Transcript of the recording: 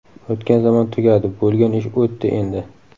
O‘tgan zamon tugadi, bo‘lgan ish o‘tdi endi.